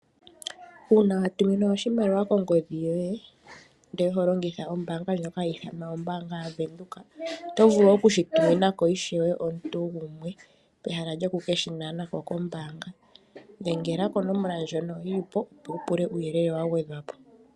Uuna wa tuminwa oshimaliwa kongodhi yoye ndele oho longitha ombaanga ndjoka hayi ithanwa kutuya ombaanga yVenduka oto vulu kushi tumina ko ishewe